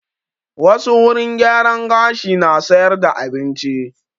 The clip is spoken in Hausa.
Wassu wurin gyaran gashi na sayar da abinci